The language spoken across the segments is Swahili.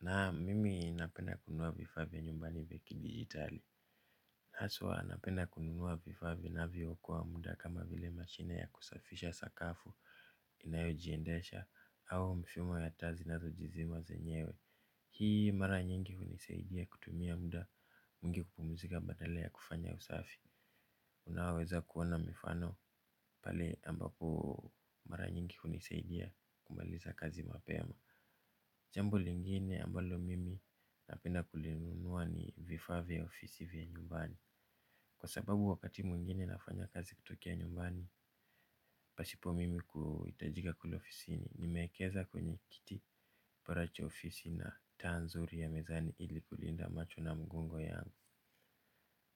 Naam mimi napenda kununua vifaa vya nyumbani vya kidigitali. Haswa napenda kununua vifaa vinavyookoa muda kama vile mashine ya kusafisha sakafu inayojiendesha au mfumo ya taa zinazojizima zenyewe. Hii mara nyingi hunisaidia kutumia muda mwingi kupumzika badala ya kufanya usafi. Unaweza kuona mifano pale ambapo mara nyingi hunisaidia kumaliza kazi mapema. Jambo lingine ambalo mimi napenda kulinunua ni vifaa vya ofisi vya nyumbani. Kwa sababu wakati mwingine nafanya kazi kutokea nyumbani, pasipo mimi kuhitajika kule ofisini. Nimeekeza kwenye kiti para che ofisi na taa nzuri ya mezani ili kulinda macho na mgongo yangu.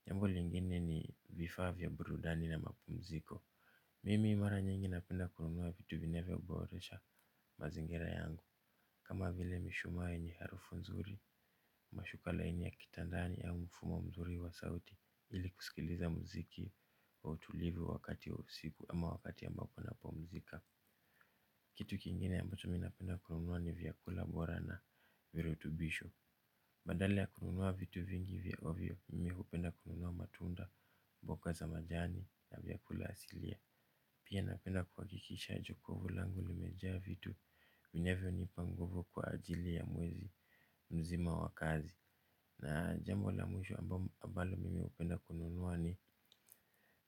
Jambo lingine ni vifaa vya burudani na mapumziko. Mimi mara nyingi napenda kununua vitu vinavyoboresha mazingira yangu. Kama vile mishumaa yenye harufu nzuri mashuka laini ya kitandani ya mfumo mzuri wa sauti ili kusikiliza mziki wa utulivu wakati wa usiku ama wakati ambapo napumzika. Kitu kingine ambaho mimi napenda kununua ni vyakula bora na virutubisho. Badala ya kununua vitu vingi vya ovyo mimi hupenda kununua matunda mboka za majani na vyakula asilia. Pia napenda kuhakikisha jokovu langu limejaa vitu vinavyonipa nguvu kwa ajili ya mwezi mzima wa kazi. Na jambo la mwisho ambalo mimi hupenda kununua ni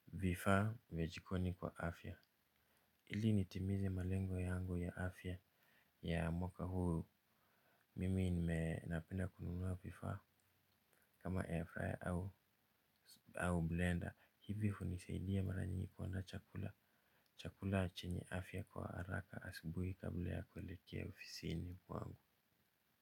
vifaa vya jikoni kwa afya. Ili nitimize malengo yangu ya afya ya mwaka huu. Mimi nime napenda kununua vifaa kama airfryer au blender. Hivyo hunisaidia mara nyingi kuwa na chakula. Chakula chenye afya kwa haraka asubuhi kabla ya kuelekea ofisini kwangu.